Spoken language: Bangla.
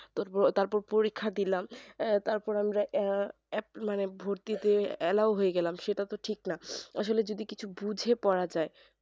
তারপর পরীক্ষা দিলাম আহ তারপর আমরা আহ এক মানে ভর্তি তে allow হয়ে গেলাম সেইটা তো ঠিক না আসলে যদি কিছু বুঝে পড়া যাই